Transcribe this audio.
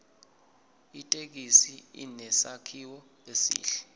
ithekisi inesakhiwo esihle